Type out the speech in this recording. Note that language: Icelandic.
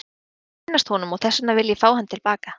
Ég vil kynnast honum og þess vegna vil ég fá hann til baka.